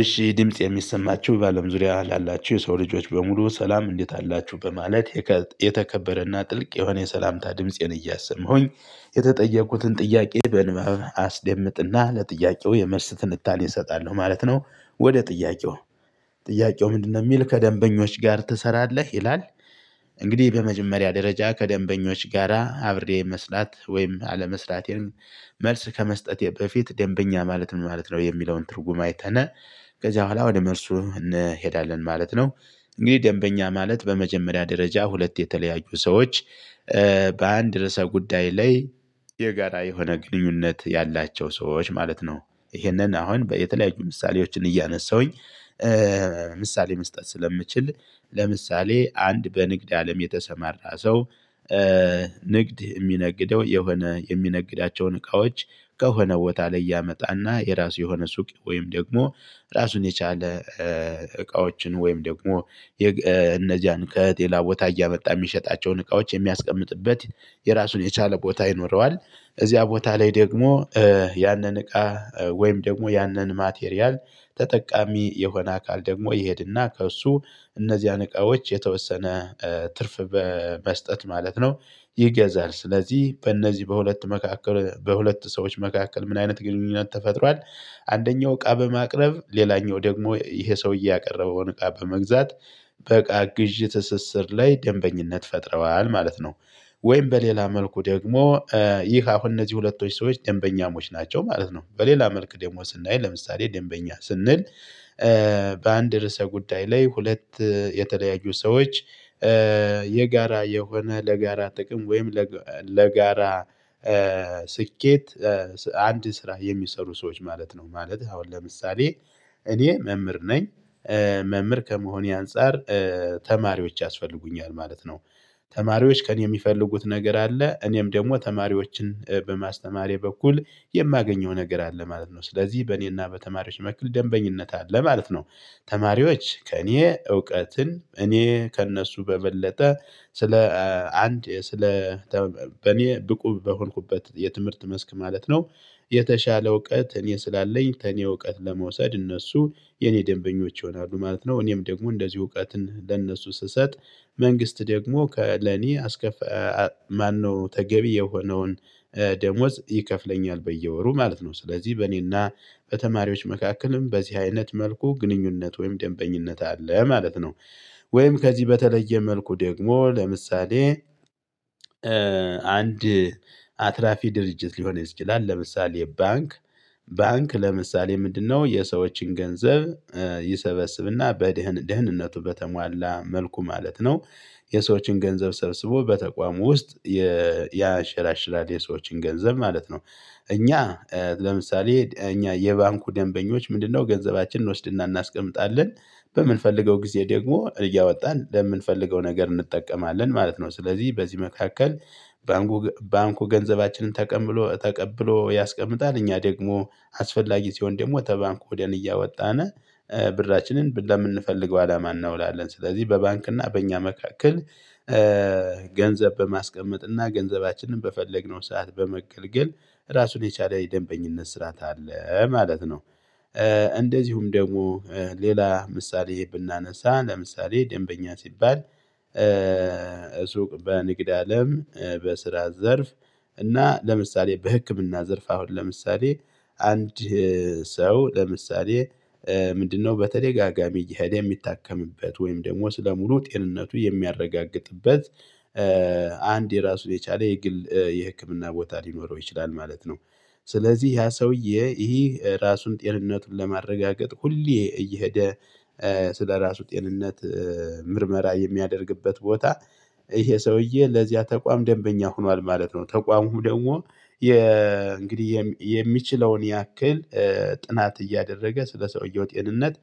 እሺ ድምጽ የሚሰማችሁ ባለም ዙሪያ ላላችሁ የሰው ልጆች በሙሉ ሰላም እንዴት አላችሁ በማለት የተከበረና ጥልቅ የሆነ የሰላምታ ድምፄን እያሰማሁኝ የተጠየቁትን ጥያቄ በንባብ አስደምጥና ለጥያቄው የመልስ ትንታኔ እሰጣለሁ ማለት ነው። ወደ ጥያቄው ጥያቄው ምንድነው የሚል ከደንበኞች ጋር ትሰራለህ ይላል? እንግዲህ በመጀመሪያ ደረጃ ከደንበኞች ጋራ አብሬ መስራት ወይም አለመስላቴን። መልስ ከመስጠቴ በፊት ደንበኛ ማለት ምን ማለት ነው? የሚለውን ትርጉም አይተነ ከዚያ በኋላ ወደ መርሱ እንሄዳለን ማለት ነው። እንግዲህ ደንበኛ ማለት በመጀመሪያ ደረጃ ሁለት የተለያዩ ሰዎች በአንድ ርዕሰ ጉዳይ ላይ የጋራ የሆነ ግንኙነት ያላቸው ሰዎች ማለት ነው። ይሄንን አሁን የተለያዩ ምሳሌዎችን እያነሳሁኝ። ምሳሌ መስጠት ስለምችል ለምሳሌ አንድ በንግድ አለም የተሰማራ ሰው። ንግድ የሚነግደው የሆነ የሚነግዳቸውን እቃዎች ከሆነ ቦታ ላይ ያመጣና የራሱ የሆነ ሱቅ ወይም ደግሞ ራሱን የቻለ እቃዎችን ወይም ደግሞ እነዚያን ከጤና ቦታ እያመጣ የሚሸጣቸውን እቃዎች የሚያስቀምጥበት የራሱን የቻለ ቦታ ይኖረዋል። እዚያ ቦታ ላይ ደግሞ ያንን እቃ ወይም ደግሞ ያንን ማቴሪያል ተጠቃሚ የሆነ አካል ደግሞ ይሄድና ከእሱ እነዚህን እቃዎች የተወሰነ ትርፍ በመስጠት ማለት ነው። ይገዛል ስለዚህ በእነዚህ በሁለት መካከል በሁለት ሰዎች መካከል ምን አይነት ግንኙነት ተፈጥሯል። አንደኛው እቃ በማቅረብ ሌላኛው ደግሞ ይሄ ሰውዬ ያቀረበውን እቃ በመግዛት በቃ ግዢ ትስስር ላይ ደንበኝነት ፈጥረዋል ማለት ነው። ወይም በሌላ መልኩ ደግሞ ይህ አሁን እነዚህ ሁለቶች ሰዎች ደንበኛሞች ናቸው ማለት ነው። በሌላ መልክ ደሞዝ እናይ ለምሳሌ ደንበኛ ስንል። በአንድ ርዕሰ ጉዳይ ላይ ሁለት የተለያዩ ሰዎች የጋራ የሆነ ለጋራ ጥቅም ወይም ለጋራ ስኬት አንድ ስራ የሚሰሩ ሰዎች ማለት ነው ማለት አሁን ለምሳሌ እኔ መምህር ነኝ። መምህር ከመሆኔ አንፃር ተማሪዎች ያስፈልጉኛል ማለት ነው። ተማሪዎች ከእኔ የሚፈልጉት ነገር አለ እኔም ደግሞ ተማሪዎችን በማስተማሬ በኩል የማገኘው ነገር አለ ማለት ነው ስለዚህ በእኔና በተማሪዎች መክል ደንበኝነት አለ ማለት ነው። ተማሪዎች ከእኔ እውቀትን እኔ ከእነሱ በበለጠ ስለ አንድ ስለ በኔ ብቁ በሆንኩበት የትምህርት መስክ ማለት ነው። የተሻለ እውቀት እኔ ስላለኝ ከኔ እውቀት ለመውሰድ እነሱ የኔ ደንበኞች ይሆናሉ ማለት ነው። እኔም ደግሞ እንደዚህ እውቀትን ለእነሱ ስሰጥ መንግስት ደግሞ ከለኔ አስከፍ ማነው ተገቢ የሆነውን ደሞዝ ይከፍለኛል በየወሩ ማለት ነው። ስለዚህ በእኔና በተማሪዎች መካከልም በዚህ አይነት መልኩ ግንኙነት ወይም ደንበኝነት አለ ማለት ነው። ወይም ከዚህ በተለየ መልኩ ደግሞ ለምሳሌ አንድ አትራፊ ድርጅት ሊሆን ይችላል። ለምሳሌ ባንክ ባንክ ለምሳሌ ምንድነው የሰዎችን ገንዘብ ይሰበስብና በድህነቱ በተሟላ መልኩ ማለት ነው። የሰዎችን ገንዘብ ሰብስቦ በተቋሙ ውስጥ ያሽራሽራል የሰዎችን ገንዘብ ማለት ነው። እኛ ለምሳሌ እኛ የባንኩ ደንበኞች ምንድነው ገንዘባችንን እንወስድና እናስቀምጣለን በምንፈልገው ጊዜ ደግሞ እያወጣን ለምንፈልገው ነገር እንጠቀማለን ማለት ነው። ስለዚህ በዚህ መካከል ባንኩ ባንኩ ገንዘባችንን ተቀብሎ ያስቀምጣል እኛ ደግሞ አስፈላጊ ሲሆን ደግሞ ወተ ባንኩ ወደን እያወጣነ ብራችንን ለምንፈልገው አላማን እናውላለን ስለዚህ በባንክና በእኛ መካከል በማስቀመጥ እና ገንዘባችንን በፈለግነው ሰዓት በመገልገል ራሱን የቻለ የደንበኝነት ስራት አለ ማለት ነው። አንድ ስራ የሚሰሩ ሰዎች ማለት ነው ማለት አሁን ለምሳሌ እኔ መምህር ነኝ መምህር ከመሆኔ አንፃር ተማሪዎች ያስፈልጉኛል ማለት። ነው ሱቅ በንግድ አለም በስራ ዘርፍ እና ለምሳሌ በህክምና ዘርፍ አሁን ለምሳሌ አንድ ሰው ለምሳሌ ምንድነው በተደጋጋሚ የሚታከምበት ወይም ደግሞ ስለሙሉ ጤንነቱ የሚያረጋግጥበት አንድ የራሱ የቻለ የግል የህክምና ቦታ ሊኖረው ይችላል ማለት ነው። ስለዚህ ያ ሰውዬ ይህ ራሱን ጤንነቱን ለማረጋገጥ ሁሌ እየሄደ ስለራሱ ጤንነት ምርመራ የሚያደርግበት ቦታ ይሄ ሰውዬ ለዚያ ተቋም ደንበኛ ሆኗል ማለት ነው። ተቋሙ ደግሞ እንግዲህ የሚችለውን ያክል ጥናት እያደረገ ስለሰውየው ጤንነት